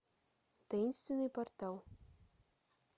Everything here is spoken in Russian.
таинственный портал